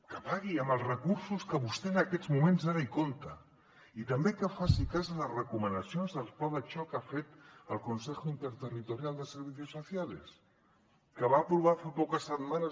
que pagui amb els recursos que vostè en aquests moments ara compta i també que faci cas a les recomanacions del pla de xoc que ha fet el consejo interterritorial de servicios sociales que va aprovar fa poques setmanes